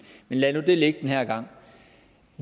men lad nu det ligge den her gang